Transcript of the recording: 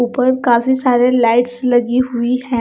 ऊपर काफी सारे लाइट्स लगी हुईं हैं।